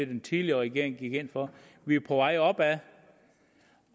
den tidligere regering gik ind for vi er på vej opad